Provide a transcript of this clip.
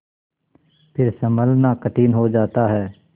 फिर सँभलना कठिन हो जाता है